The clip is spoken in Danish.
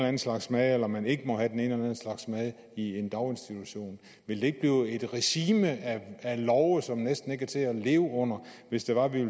anden slags mad eller om man ikke må have den anden slags mad i en daginstitution ville det ikke blive et regime af love som næsten ikke var til at leve under hvis det var at vi